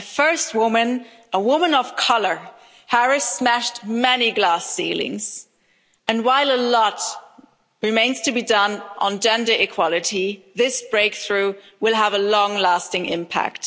A first woman, a woman of colour Harris smashed many glass ceilings, and while a lot remains to be done on gender equality, this breakthrough will have a long lasting impact.